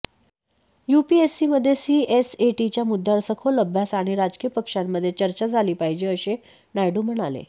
यूपीएससीमध्ये सीएसएटीच्या मुद्यावर सखोल अभ्यास आणि राजकीय पक्षांमध्ये चर्चा झाली पाहिजे असे नायडू म्हणाले